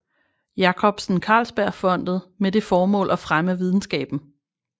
Jacobsen Carlsbergfondet med det formål at fremme videnskaben